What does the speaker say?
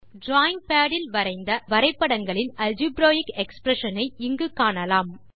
drawing pad இல் வரைந்த வரைபடங்களின் ஆல்ஜிபிரேக் எக்ஸ்பிரஷன் ஐ இங்கு காணலாம்